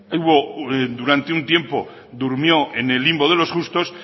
durante un tiempo durmió en el limbo de los justos